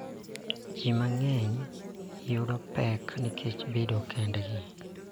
Ji mang�eny yudo pek nikech bedo kendgi .